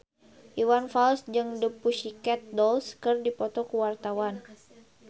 Iwan Fals jeung The Pussycat Dolls keur dipoto ku wartawan